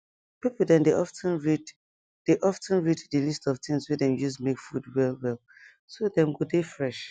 people dem dey of ten read dey of ten read the list of things wey dem use make food well well so dem go dey fresh